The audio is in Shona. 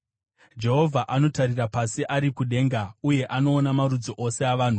Jehovha anotarira pasi ari kudenga uye anoona marudzi ose avanhu;